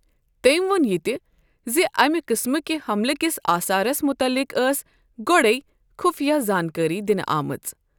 تٔمۍ وون یہِ تہِ زِ اَمہِ قٕسمہٕ کہِ حملہٕ کِس آثارس مُتعلِق ٲس گۄڈَے خُفیہ زانكٲری دِنہٕ آمٕژ ۔